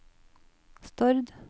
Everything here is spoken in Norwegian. Stord